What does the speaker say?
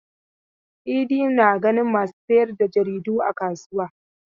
Idi na ganin masu sayar da jaridu a kasuwa.